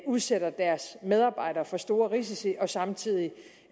udsætter deres medarbejdere for store risici og samtidig